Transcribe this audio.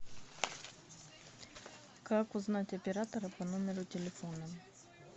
как узнать оператора по номеру телефона